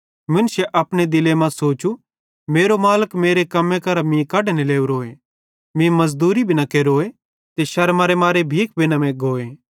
मुन्शे अपने दिले मां सोचू मेरो मालिक मेरे कम्मे करां मीं कढने लोरोए मीं मज़दूरी भी न केरोए ते शर्मारेमारे भीख भी न मैग्गोए